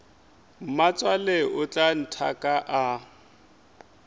mmatswale o tla nthaka a